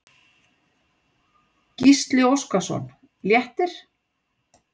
Gísli Óskarsson: Léttir?